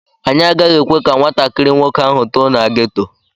Anyị agaghị ekwe ka nwatakịrị nwoke ahụ too na geto.